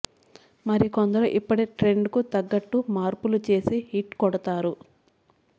మరికొందరు ఇప్పటి ట్రెండ్ కు తగ్గట్టు మార్పులు చేసి హిట్ కొడతారు